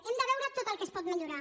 hem de veure tot el que es pot millorar